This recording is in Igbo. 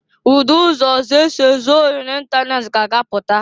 Udi ụzọ ọzọ esi ezụ ohi n'itanet ka a ga-apụta.